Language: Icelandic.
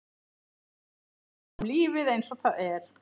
Sýna honum lífið einsog það er.